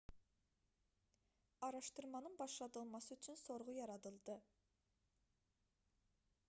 araşdırmanın başladılması üçün sorğu yaradıldı